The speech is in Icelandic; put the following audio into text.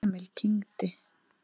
Emil kyngdi.